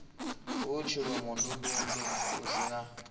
hu tshilomondundundu hu si na